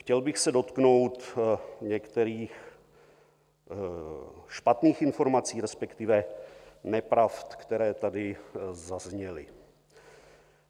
Chtěl bych se dotknout některých špatných informací, respektive nepravd, které tady zazněly.